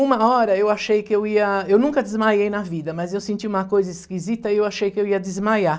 Uma hora eu achei que eu ia, eu nunca desmaiei na vida, mas eu senti uma coisa esquisita e eu achei que eu ia desmaiar.